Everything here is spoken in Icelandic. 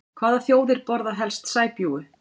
Hvaða þjóðir borða helst sæbjúgu?